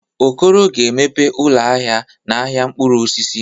Okoro ga-emeghe ụlọ ahịa n'ahịa mkpụrụ osisi.